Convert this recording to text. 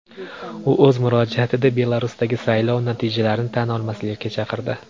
U o‘z murojaatida Belarusdagi saylov natijalarini tan olmaslikka chaqirdi.